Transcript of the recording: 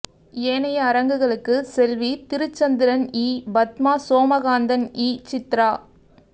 ஏனைய அரங்குகளுக்கு செல்வி திருச்சந்திரன்இ பத்மா சோமகாந்தன்இ சித்ரா